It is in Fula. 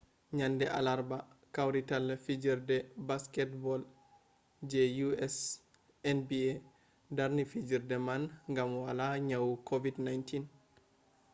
nyande alarba kawrital fijerde baketbol je us nba darni fijerde man gam hala nyawu covid-19